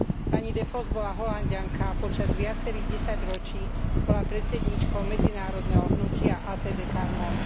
Pani de Vos bola Holanďanka a počas viacerých desaťročí bola predsedníčkou medzinárodného hnutia ATD Quart Monde.